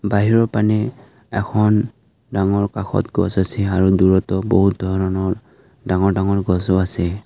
বাহিৰৰ পানে এখন ডাঙৰ কাষত গছ আছে আৰু দূৰতো বহুত ধৰণৰ ডাঙৰ ডাঙৰ গছো আছে।